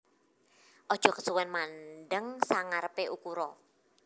Aja kesuwen mandheng sangarepe ukura